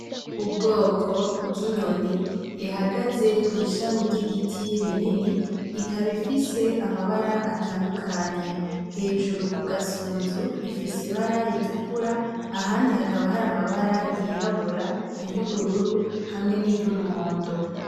Ubwoko bw'inyoni ihagaze kw'ishami ry'igiti rinini ikaba ifise amabara atandukanye hejuru kugasunzu ifise ibara ritukura ahandi hakaba hari amabara y'irabura y'ubururu hamwe n'iryo umuhondo.